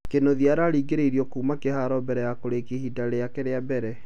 Kĩnuthia araringĩrĩirio kuma kĩharo mbere ya kũrĩkia ihinda rĩake rĩa mbere